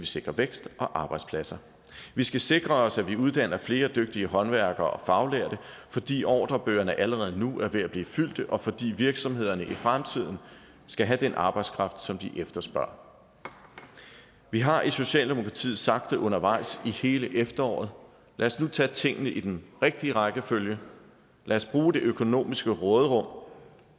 sikre vækst og arbejdspladser vi skal sikre os at vi uddanner flere dygtige håndværkere og faglærte fordi ordrebøgerne allerede nu er ved at blive fyldte og fordi virksomhederne i fremtiden skal have den arbejdskraft som de efterspørger vi har i socialdemokratiet sagt det undervejs i hele efteråret lad os nu tage tingene i den rigtige rækkefølge lad os bruge det økonomiske råderum